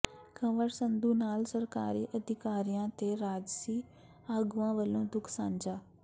ਕੰਵਰ ਸੰਧੂ ਨਾਲ ਸਰਕਾਰੀ ਅਧਿਕਾਰੀਆਂ ਤੇ ਰਾਜਸੀ ਆਗੂਆਂ ਵੱਲੋਂ ਦੁੱਖ ਸਾਂਝਾ